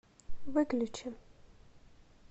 выключи